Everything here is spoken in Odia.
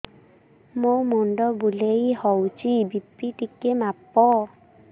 ମୋ ମୁଣ୍ଡ ବୁଲେଇ ହଉଚି ବି.ପି ଟିକେ ମାପ